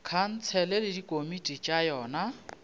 khansele le dikomiti tša yona